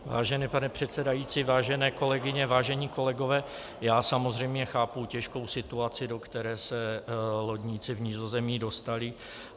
Vážený pane předsedající, vážené kolegyně, vážení kolegové, já samozřejmě chápu těžkou situaci, do které se lodníci v Nizozemí dostali.